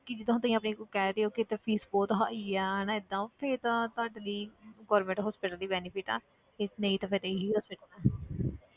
ਕਿ ਜਿੱਦਾਂ ਹੁਣ ਤੁਸੀਂ ਆਪਣੇ ਕਹਿ ਰਹੇ ਹੋ ਕਿ ਇੱਥੇ fees ਬਹੁਤ ਹਾਈ ਹੈ ਹਨਾ ਏਦਾਂ ਫਿਰ ਤਾਂ ਤੁਹਾਡੇ ਲਈ government hospital ਹੀ benefit ਆ ਫਿਰ ਨਹੀਂ ਤਾਂ ਫਿਰ ਇਹੀ hospital ਹੈ